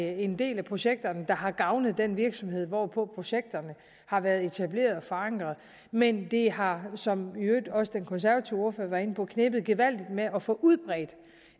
en del af projekterne der har gavnet den virksomhed hvorpå projekterne har været etableret og forankret men det har som i øvrigt også den konservative ordfører var inde på knebet gevaldigt med at få udbredt